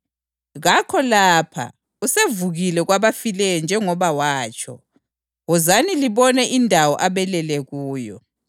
Kakho lapha; usevukile kwabafileyo njengoba watsho. Wozani libone indawo abelele kuyo.